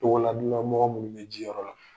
Tɔgoladɔnan mɔgɔw minnu bɛ jiyɔrɔ la.